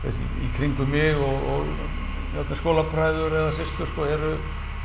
kringum mig og gamlir skólabræður eða systur eru